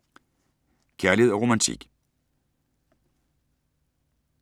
Kærlighed & romantik